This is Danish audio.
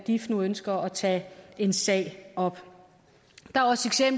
dif nu ønsker at tage en sag op